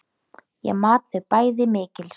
Ég mat þau bæði mikils.